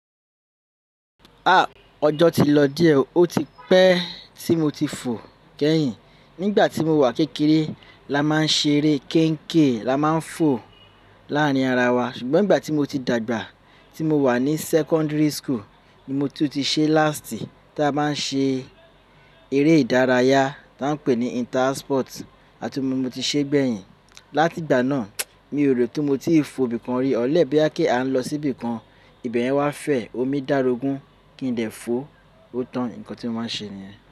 Ah! Ọjọ́ ti lọ díẹ̀ ó ti pẹ́ tí mo ti fò kẹ́yìn. Nígbà tí mo wà kékeré la máa ń ṣe eré kéékèè la máa ń fò láàárín ara wa ṣùgbọ́n ìgbà tí mo ti dàgbà tí mo wà ní secondary school ni mo tún ti ṣe last tí a bá ń ṣe eré ìdárayá ta n pé ní inter house sport àti mo ti ṣe gbẹ̀yìn. Látìgbà náà mi ò rò tó mo ti fò bí i kan rí. Unless bóyá à kí a lọ sí ibìkan ìbẹ̀yen wá fẹ́ omi dàárógun kí n dẹ̀ fo ó tàn nǹkan tí wọn máa ṣe nìyẹn.